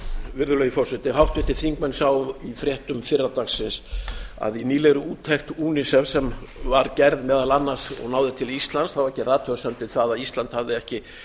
virðulegi forseti háttvirtir þingmenn sáu í fréttum fyrradagsins að í nýlegri úttekt unifem sem var gerð meðal annars og náði til íslands var gerð athugasemd við það að ísland hafði ekki